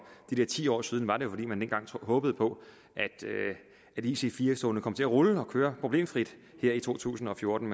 de der ti år siden var det jo fordi man dengang håbede på at ic4 togene kom til at rulle og køre problemfrit her i to tusind og fjorten